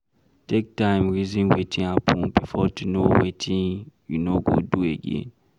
Take time reason wetin happen before to know wetin you no go do again